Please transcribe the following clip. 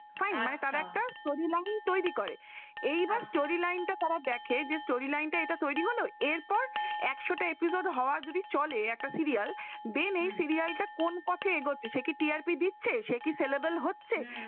এই পরিমাণ তৈরি করে, এবার storeline তারা দেখে student এটা তৈরি হলো এরপর একশটা episode হওয়ার যদি চলে একটা serial দেন এই serial টা কোন পথে এগোচ্ছে? সে কি TRP দিচ্ছে সে কি selable হচ্ছে ।